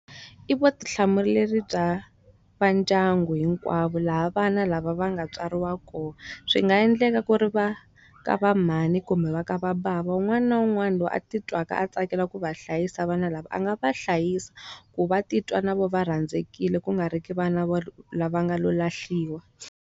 I vutihlamuleri bya va ndyangu hinkwavo laha vana lava va nga tswariwa kona. Swi nga endleka ku ri va ka va mhani kumbe va ka va bava wun'wana na wun'wana loyi a ti twaka a tsakela ku va hlayisa vana lava a nga va hlayisa. Ku va titwa na vona va rhandzekile ku nga ri ki vana vo lava nga lo lahliwa.